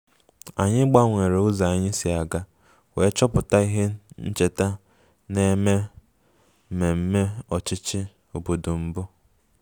Anyị gbanwere ụzọ anyị si aga wee chọpụta ihe ncheta na-eme mmemme ọchịchị obodo mbụ